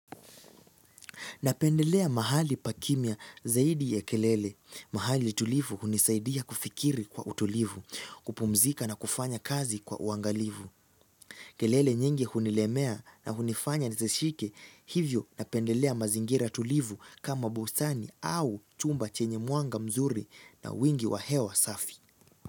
Napendelea mahali pa kimya zaidi ya kelele. Mahali tulivu hunisaidia kufikiri kwa utulivu, kupumzika na kufanya kazi kwa uangalivu. Kelele nyingi hunilemea na hunifanya nisishike hivyo napendelea mazingira tulivu kama bustani au chumba chenye mwanga mzuri na wingi wa hewa safi.